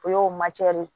O y'o de ye